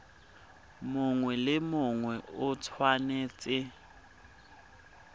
mongwe le mongwe o tshwanetse